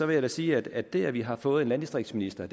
vil jeg sige at det at vi har fået en landdistriktsminister